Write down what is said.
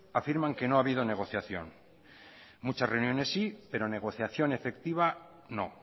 afirman que no ha habido negociación muchas reuniones sí pero negociación efectiva no